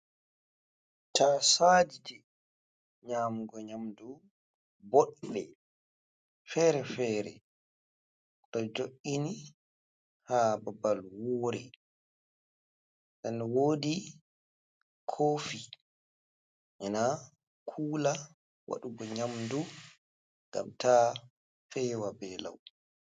Tasaje, nyamugo nyamdu boɗɗe, fere-fere ɗo jo’ini ha babal woore, nden wodi kofi ma kula waɗugo nyamdu ngam ta fewa be lau.